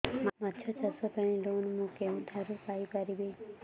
ମାଛ ଚାଷ ପାଇଁ ଲୋନ୍ ମୁଁ କେଉଁଠାରୁ ପାଇପାରିବି